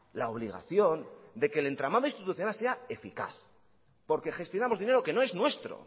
la obligación de que el entramado institucional sea eficaz porque gestionamos dinero que no es nuestro